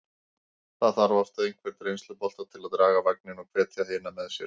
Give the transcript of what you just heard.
Það þarf oft einhvern reynslubolta til að draga vagninn og hvetja hina með sér.